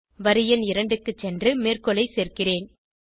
வரி எண் 2 க்கு சென்று மேற்கோளை சேர்க்கிறேன்